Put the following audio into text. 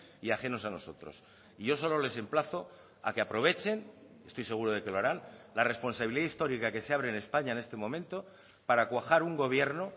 y ajenos a nosotros y yo solo les emplazo a que aprovechen estoy seguro de que lo harán la responsabilidad histórica que se abre en españa en este momento para cuajar un gobierno